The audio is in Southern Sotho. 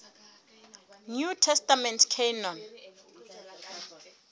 new testament canon